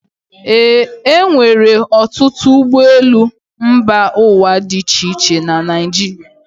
E nwere ọtụtụ ụgbọelu mba ụwa dị iche iche na Naịjirịa.